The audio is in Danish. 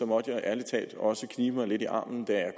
måtte jeg ærlig talt også knibe mig lidt i armen da